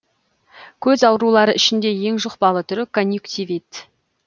көз аурулары ішінде ең жұқпалы түрі конъюнктивит